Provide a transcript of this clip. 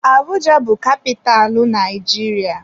Abuja bụ kapitalụ Naijiria.